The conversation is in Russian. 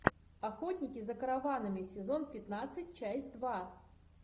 охотники за караванами сезон пятнадцать часть два